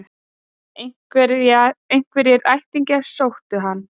Einhverjir ættingjar sóttu hann